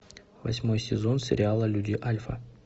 восьмой сезон сериала люди альфа